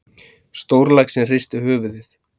Stórlaxinn hristir höfuðið.